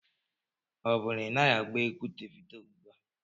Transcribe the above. Ọ bụ na ị naghị agba egwu Devido ugbu a?